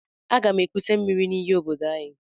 Aga m ekute miri n'íyí obodo anyị.